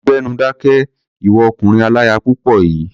Gbẹ́nu dákẹ́! Ìwọ ọkùnrin aláya púpọ̀ yìí.